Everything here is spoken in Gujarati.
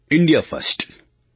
ઇન્ડિયા ફર્સ્ટડૉ